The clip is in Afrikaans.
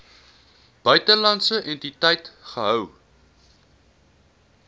buitelandse entiteit gehou